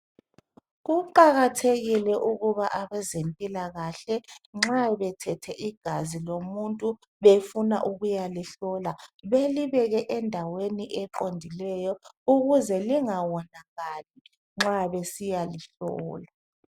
kuqakathekile ukuba abezempilakahle nxa bethethe igazi lomuntu befuna ukuyalihlola belibeke endaweni eqondileyo ukuze lingawonakali nxa besiyalihlola